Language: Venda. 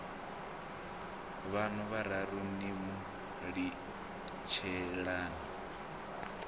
vhaṋu vhararu ni mu litshelani